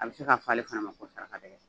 A bɛ se ka fɔ ale fana ma ko sarakadɛgɛ.